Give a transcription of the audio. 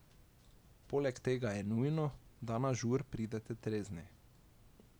Poleg tega je nujno, da na žur pridete trezni.